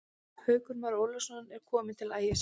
Haukur Már Ólafsson er kominn til Ægis.